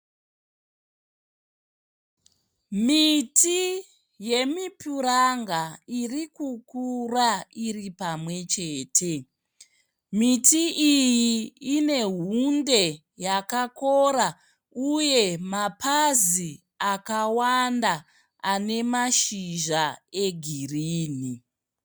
Miti yemipuranga iri kukura iri pamwe chete. Miti iyi ine hunde yakakora uye mapazi akawanda ane mashizha egirini.